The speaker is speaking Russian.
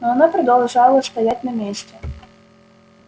но она продолжала стоять на месте